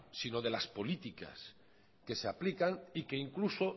sino de las políticas que se aplican y que incluso